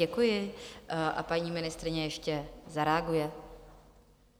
Děkuji a paní ministryně ještě zareaguje.